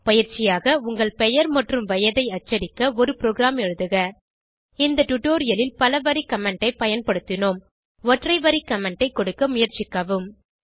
பயிற்சியாக உங்கள் பெயர் மற்றும் வயதை அச்சடிக்க ஒரு ப்ரோகிராம் எழுதுக இந்த டுடோரியலில் பலவரி கமெண்ட் ஐ பயன்படுத்தினோம் ஒற்றை வரி கமெண்ட் ஐ கொடுக்க முயற்சிக்கவும்